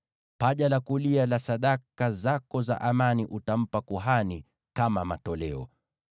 Paja la kulia la sadaka zako za amani utampa kuhani kama matoleo.